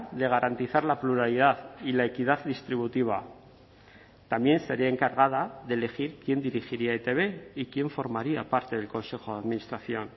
de garantizar la pluralidad y la equidad distributiva también sería encargada de elegir quién dirigiría etb y quién formaría parte del consejo de administración